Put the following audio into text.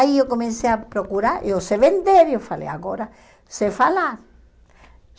Aí eu comecei a procurar, eu sei vender, eu falei, agora sei falar.